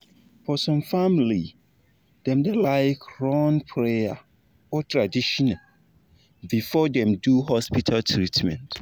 for some family dem da like run prayer or tradition before dem do hospital treatment